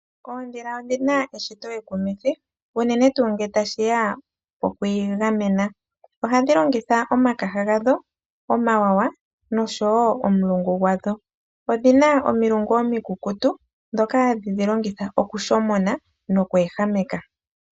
Oondhila odhi na eshito ekuminthi unene tuu ngele ta shi ya po ku igamena. Ohadhi longitha omakaha gadho , omawawa nosho wo omulungu gwadho. Odhi na omilungu omikukutu ndhoka ha dhi dhi longitha oku shomona noku ehameka.